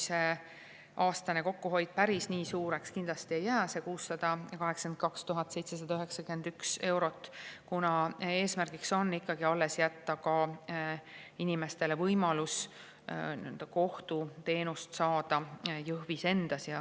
Aastane kokkuhoid päris nii suureks kindlasti ei kujune, – see 682 791 eurot –, kuna eesmärgiks on ikkagi jätta inimestele võimalus kohtuteenust saada ka Jõhvis.